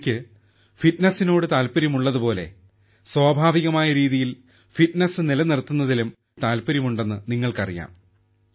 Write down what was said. എനിക്ക് ഫിറ്റ്നസിനോട് താൽപ്പര്യമുള്ളത് പോലെ സ്വാഭാവികമായ രീതിയിൽ ഫിറ്റ്നസ് നിലനിർത്തുന്നതിലും എനിക്ക് താൽപ്പര്യമുണ്ടെന്ന് നിങ്ങൾക്കറിയാം